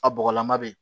A bɔgɔlama bɛ yen